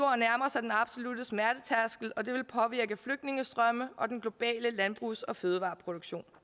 sig den absolutte smertetærskel og det vil påvirke flygtningestrømme og den globale landbrugs og fødevareproduktion